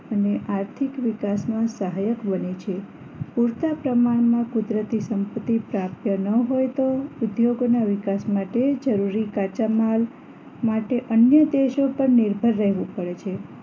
અને આર્થિક વિકાસમાં સહાયક બને છે પૂરતા પ્રમાણમાં કુદરતી સંપત્તિ પ્રાપ્ત ન હોય તો ઉદ્યોગોના વિકાસ માટે જરૂરી કાચા માલ માટે અન્ય દેશો પર નિર્ભર રહેવું પડે છે